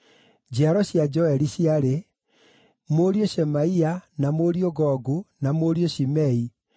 Njiaro cia Joeli ciarĩ: Mũriũ Shemaia, na mũriũ Gogu, na mũriũ Shimei,